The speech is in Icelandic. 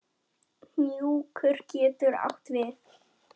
Hnjúkur getur átt við